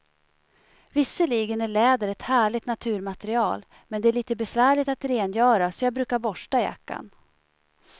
Visserligen är läder ett härligt naturmaterial, men det är lite besvärligt att rengöra, så jag brukar borsta jackan.